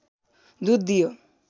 दुध दियो